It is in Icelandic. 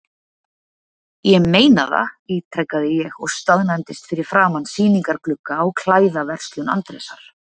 Ég meina það, ítrekaði ég og staðnæmdist fyrir framan sýningarglugga á klæðaverslun Andrésar.